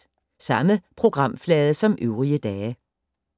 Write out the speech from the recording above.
Samme programflade som øvrige dage